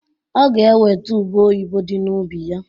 Ọ ga-eweta ube oyibo di n'ubi ya